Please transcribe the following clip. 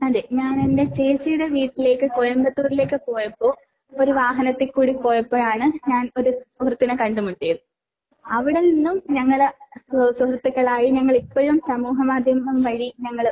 അതെ ഞാൻ എന്റെ ചേച്ചിയുടെ വീട്ടിലേക്ക് കോയമ്പത്തൂരിലേക്ക് പോയപ്പോ ഒരു വാഹനത്തിക്കൂടി പോയപ്പോഴാണ് ഞാൻ ഒരു സുഹൃത്തിനെ കണ്ടുമുട്ടിയത്. അവിടെനിന്നും ഞങ്ങള് ഏഹ് സുഹൃത്തുക്കളായി. ഞങ്ങള് ഇപ്പഴും സമൂഹമാധ്യമം വഴി ഞങ്ങള് ആഹ്